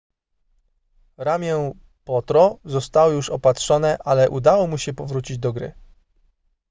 ramię potro zostało już opatrzone ale udało mu się powrócić do gry